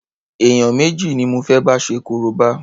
Èèyàn méjì ni mo fé bá ṣe korobá.